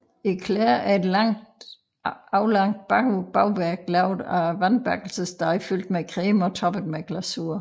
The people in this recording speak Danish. Éclair er et aflangt bagværk lavet af vandbakkelsesdej fyldt med creme og toppet med glasur